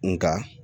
Nga